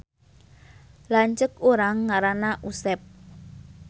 Lanceuk urang ngaranna Usep